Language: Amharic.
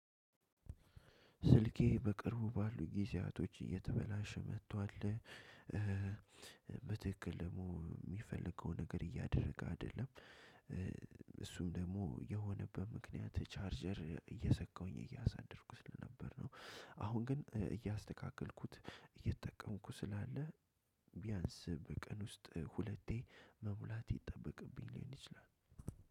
ስልኬ በቅርቡ ባሉ ጊዜያቶች እየተበላሸ መጥቷል በትክክል ደግሞ የሚፈልገውን ነገር እያደረገ አይደለም እሱም ደግሞ የሆነበት ምክንያት ቻርጀር እየሰቀሁኝ እያሳደርኩ ስለነበር ነው። አሁን ግን እያስተካከልኩት እየተጠቀምኩ ስላለ ቢያንስ በቀን ውስጥ ሁለቴ መሙላት ይጠበቅብኝ ሊሆን ይችላል።